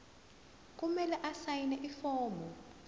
kumele asayine ifomu